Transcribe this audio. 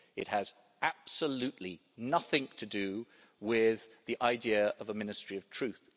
It has absolutely nothing to do with the idea of a Ministry of Truth.